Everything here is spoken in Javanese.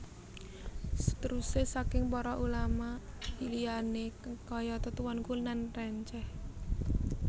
Seteruse saking para Ulama liyane kayata Tuanku Nan Renceh